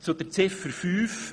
Zu Ziffer 5